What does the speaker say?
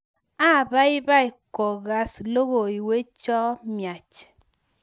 apaipai kokakas logoywecho miach